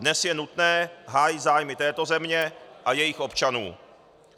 Dnes je nutné hájit zájmy této země a jejích občanů.